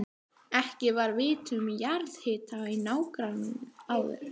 Ekki var vitað um jarðhita í nágrenninu áður.